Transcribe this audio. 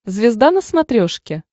звезда на смотрешке